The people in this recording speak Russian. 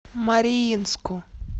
мариинску